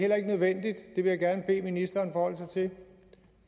vil jeg gerne bede ministeren forholde sig til